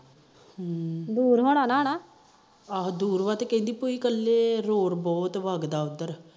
ਦੁਰ ਹੋਣਾ ਹਨਾ ਆਹੋ ਦੁਰ ਆ ਕਹਿੰਦੀ ਭੂਈ ਇਕੱਲੇ ਰੋਡ ਬਹੁਤ ਵਾਗਦਾ ਉਧਰ